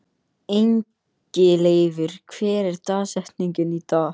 Ingileifur, hver er dagsetningin í dag?